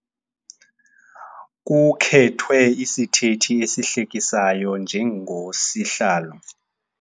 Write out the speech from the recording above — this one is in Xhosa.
Kukhethwe isithethi esihlekisayo njengosihlalo.